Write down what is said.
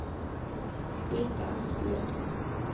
Brita Asplund